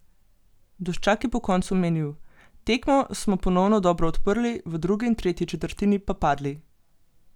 Duščak je po koncu menil: "Tekmo smo ponovno dobro odprli, v drugi in tretji četrtini pa padli.